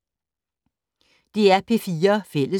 DR P4 Fælles